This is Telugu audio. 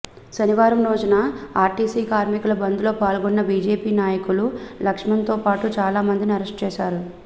శనివారం రోజున ఆర్టీసీ కార్మికుల బంద్లో పాల్గొన్న బీజేపీ నాయకులు లక్ష్మణ్తో పాటు చాలామంది ని అరెస్ట్ చేశారు